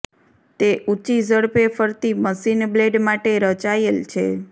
તે ઊંચી ઝડપે ફરતી મશિન બ્લેડ માટે રચાયેલ છે